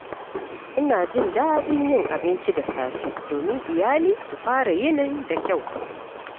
Ina jin daɗin yin abinci da safe domin iyali su fara yinin da kyau.